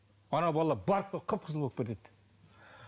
ана бала қып қызыл болып кетеді